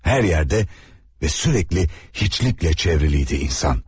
Hər yerdə və sürəkli heçliklə çevrili idi insan.